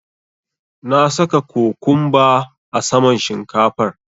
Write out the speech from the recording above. Na saka cokumba a saman shinkafar.